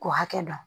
K'o hakɛ dɔn